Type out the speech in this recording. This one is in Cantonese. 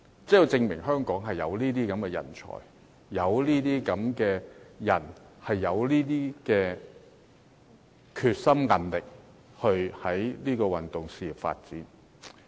這就證明香港有這類人才，而且他們有決心和韌力去發展運動事業。